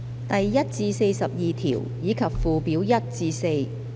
第1至42條，以及附表1至4。